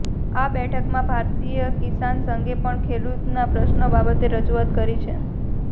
આ બેઠકમાં ભારતીય કિસાન સંઘે પણ ખેડૂતોના પ્રશ્નો બાબતે રજુઆત કરી છે